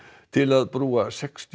til að brúa sextíu